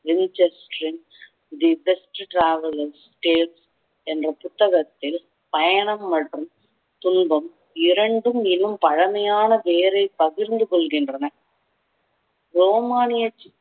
the best traveler state என்ற புத்தகத்தில் பயணம் மற்றும் துன்பம் இரண்டும் இன்னும் பழமையான பெயரை பகிர்ந்து கொள்கின்றன ரோமானிய